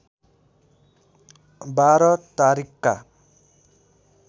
१२ तारिखका